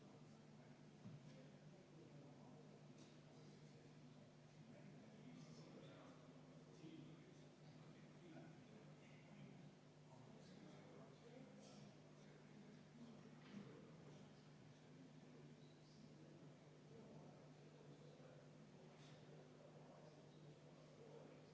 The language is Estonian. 24. muudatusettepaneku esitajaks on Sotsiaaldemokraatliku Erakonna fraktsioon, juhtivkomisjon on jätnud selle arvestamata ja ettepanekut ei saa panna hääletusele vastavalt kodukorraseaduse § 106 lõikele 2.